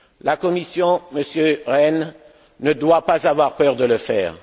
La Commission, Monsieur Rehn, ne doit pas avoir peur de le faire.